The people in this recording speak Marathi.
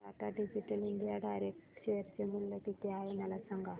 आज Tata digital India direct share चे मूल्य किती आहे मला सांगा